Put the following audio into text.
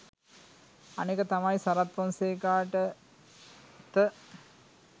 අනෙක තමයි සරත් ෆොන්සේකාට ත